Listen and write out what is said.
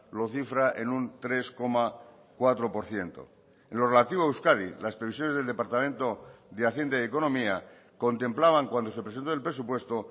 lo cifra en un tres coma cuatro por ciento en lo relativo a euskadi las previsiones del departamento de hacienda y economía contemplaban cuando se presentó el presupuesto